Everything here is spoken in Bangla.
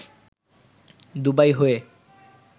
দুবাই হয়ে